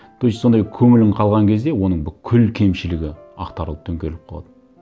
то есть сондай көңілің қалған кезде оның бүкіл кемшілігі ақтарылып төңкеріліп қалады